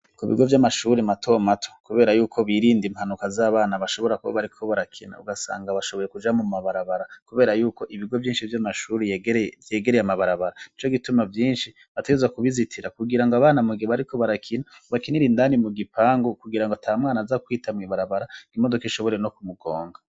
Ku bigo vy'amashuri mato mato, kubera y'uko birinda impanuka z'abana bashobora kuba bariko barakina ,ugasanga bashoboye kuja mu mabarabara, kubera yuko ibigo vyinshi vy'amashuri vyegereye amabarabara, nico gituma vyinshi bategerezwa kubizitira, kugira ngo abana mugihe bariko barakina, bakinire indani mu gipangu kugira ngo ata mwana aza kwita mw'ibarabara, imodoka ishobore no kumugonga.